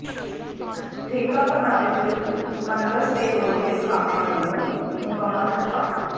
ਠੇਕਾ ਪ੍ਰਣਾਲੀ ਵਿਰੁਧ ਪਨਬਸ ਤੇ ਰੋਡਵੇਜ਼ ਕਾਮਿਆਂ ਵਲੋਂ ਮੁਕੰਮਲ ਹੜਤਾਲ